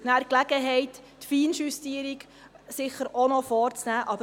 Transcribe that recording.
Dort werden Sie dann die Gelegenheit für Feinjustierungen haben.